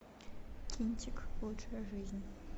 кинчик лучшая жизнь